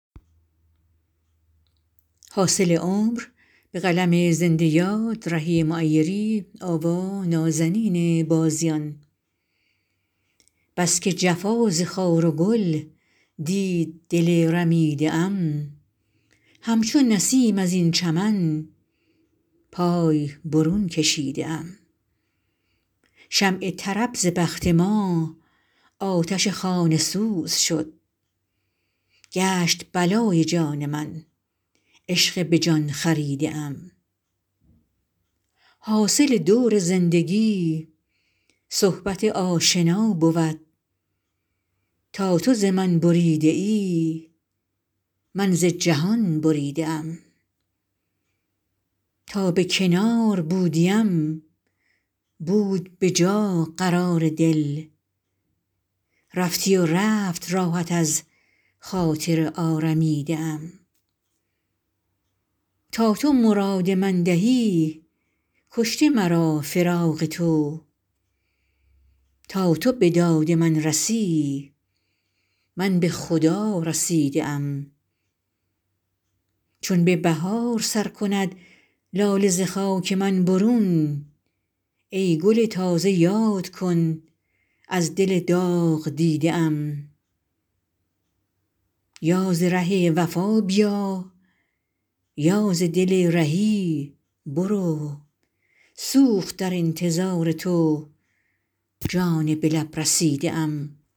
بس که جفا ز خار و گل دید دل رمیده ام همچو نسیم از این چمن پای برون کشیده ام شمع طرب ز بخت ما آتش خانه سوز شد گشت بلای جان من عشق به جان خریده ام حاصل دور زندگی صحبت آشنا بود تا تو ز من بریده ای من ز جهان بریده ام تا به کنار بودیم بود به جا قرار دل رفتی و رفت راحت از خاطر آرمیده ام تا تو مراد من دهی کشته مرا فراق تو تا تو به داد من رسی من به خدا رسیده ام چون به بهار سر کند لاله ز خاک من برون ای گل تازه یاد کن از دل داغ دیده ام یا ز ره وفا بیا یا ز دل رهی برو سوخت در انتظار تو جان به لب رسیده ام